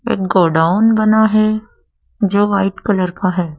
एक गोडाउन बना है जो वाइट कलर का है।